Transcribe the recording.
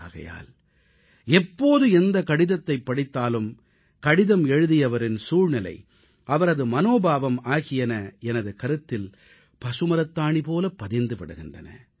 ஆகையால் எப்போது எந்தக் கடிதத்தைப் படித்தாலும் கடிதம் எழுதியவரின் சூழ்நிலை அவரது மனோபாவம் ஆகியன எனது கருத்தில் பசுமரத்தாணி போலப் பதிந்து விடுகின்றன